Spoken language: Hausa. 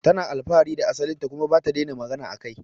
Tana alfahari da asalin ta kuma bata daina magana akai